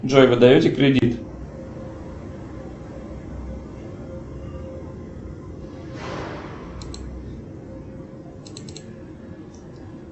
джой вы даете кредит